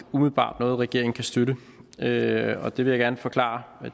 umiddelbart noget regeringen kan støtte og det vil jeg gerne forklare